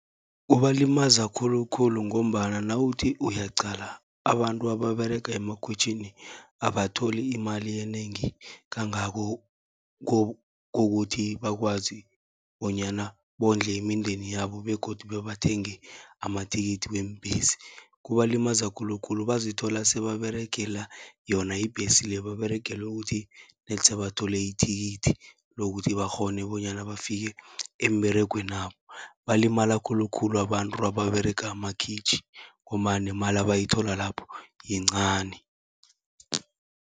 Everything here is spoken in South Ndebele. Kubalimaza khulukhulu ngombana nawuthi uyaqala, abantu ababerega emakhwitjhini abatholi imali enengi kangako, kokuthi bakwazi bonyana bondle imindeni yabo begodu bebathenge amathikithi weembhesi. Kubalimaza khulukhulu bazithola sebaberegela yona ibhesi le, baberegele ukuthi nedi sebathole ithikithi lokuthi bakghone bonyana bafike emberegwenabo. Balimala khulukhulu abantu ababerega amakhwitjhi, ngombana nemali abayithola lapho yincani.